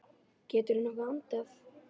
Geturðu nokkuð andað?